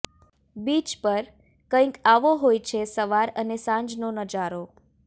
beach પર કંઇક આવો હોય છે સવાર અને સાંજનો નજારો